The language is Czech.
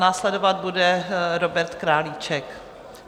Následovat bude Robert Králíček.